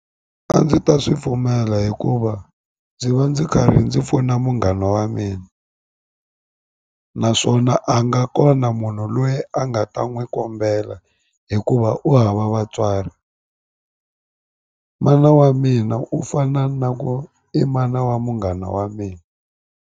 A ndzi ta swi pfumela hikuva ndzi va ndzi karhi ndzi pfuna munghana wa mina naswona a nga kona munhu loyi a nga ta n'wi kombela hikuva u hava vatswari mana wa mina u fana na ku i mana wa munghana wa mina.